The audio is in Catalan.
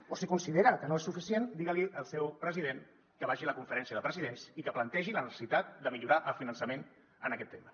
o si considera que no és suficient digui·li al seu president que vagi a la conferència de presidents i que plan·tegi la necessitat de millorar el finançament en aquest tema